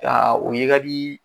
Aa o ye ka di